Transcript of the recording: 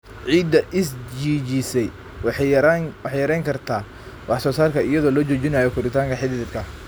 Ciidda is-jiijisay waxay yarayn kartaa wax-soo-saarka iyadoo la joojinayo koritaanka xididka.